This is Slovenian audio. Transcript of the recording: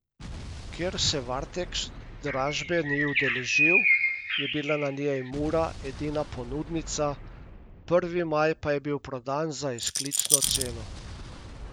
Ker se Varteks dražbe ni udeležil, je bila na njej Mura edina ponudnica, Prvi maj pa je bil prodan za izklicno ceno.